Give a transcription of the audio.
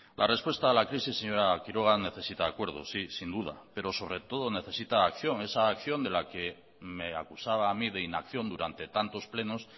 la respuesta a la crisis señora quiroga necesita acuerdos sí sin duda pero sobre todo necesita acción esa acción de la que me acusaba a mí de inacción durante tantos plenos